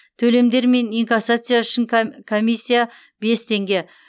төлемдер мен инкассация үшін комиссия бес теңге